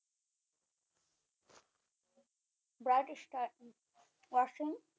Bright star watching